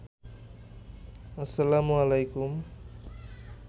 আসসালামু আলাইকুম